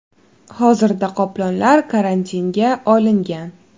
Hozirda qoplonlar karantinga olingan.